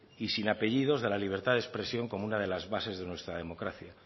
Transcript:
y sin apellidos de la libertad de expresión como una de las bases de nuestra democracia